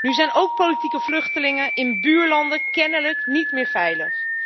Nu zijn ook politieke vluchtelingen in buurlanden kennelijk niet meer veilig.